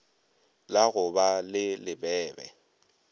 la go ba le lebebe